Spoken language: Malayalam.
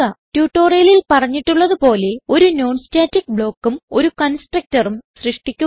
ട്യൂട്ടോറിയലിൽ പറഞ്ഞിട്ടുള്ളത് പോലെ ഒരു non സ്റ്റാറ്റിക് ബ്ലോക്ക് ഉം ഒരു കൺസ്ട്രക്ടർ ഉം സൃഷ്ടിക്കുക